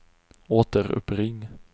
återuppring